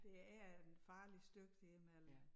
Det er en farlig stykke dér mellem